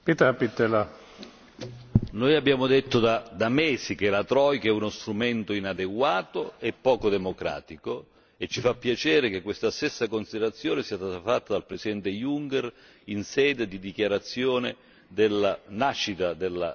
Noi abbiamo detto da mesi che la troika è uno strumento inadeguato e poco democratico e ci fa piacere che questa stessa considerazione sia stata fatta dal Presidente Juncker in sede di dichiarazione della nascita della Commissione europea.